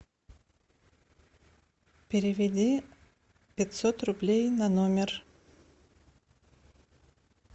переведи пятьсот рублей на номер